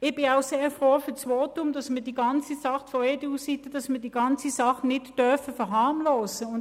Ich bin auch sehr froh um das Votum, dass man die ganze Sache nicht verharmlosen dürfe.